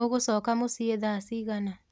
ũgũcoka mũciĩ thaa cigana?